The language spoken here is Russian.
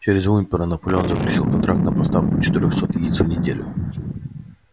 через уимпера наполеон заключил контракт на поставку четырёхсот яиц в неделю